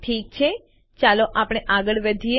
ઠીક છે ચાલો આપણે આગળ વધીએ